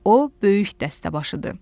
O böyük dəstəbaşıdır.